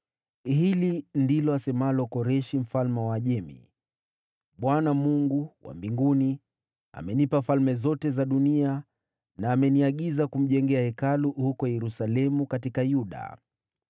“Hili ndilo asemalo Koreshi mfalme wa Uajemi: “‘ Bwana , Mungu wa mbinguni, amenipa falme zote duniani, na ameniagiza kumjengea Hekalu huko Yerusalemu katika Yuda.